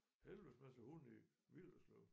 Helvedes masse hunde i Villerslev